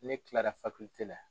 Ne kilara tɛ la.